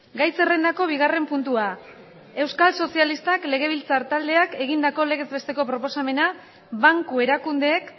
gai zerrendako bigarren puntua euskal sozialistak legebiltzar taldeak egindako legez besteko proposamena banku erakundeek